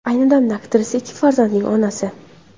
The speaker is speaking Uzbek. Ayni damda aktrisa ikki farzandning onasi.